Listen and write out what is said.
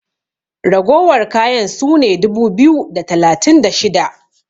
ragowar kayan su ne dubu biyu da talatin da shida!